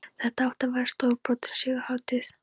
Þetta átti að verða stórbrotin sigurhátíð!